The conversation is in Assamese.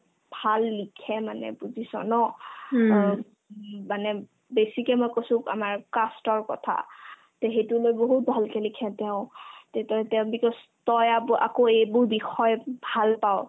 ভাল লিখে মানে বুজিছ ন অ ওব মানে বেছিকৈ মই কৈছো আমাৰ cast ৰ কথা তে সেইতো তেওঁ বহুত ভালকে লিখে তেওঁ তেতিয়া তেওঁ because তই আব আকৌ এইবোৰ বিষয় ভাল পাৱ